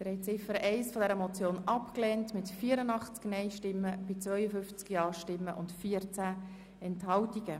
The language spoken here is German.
Sie haben Ziffer 1 dieser Motion abgelehnt mit 84 Nein- gegen 52 Ja-Stimmen bei 14 Enthaltungen.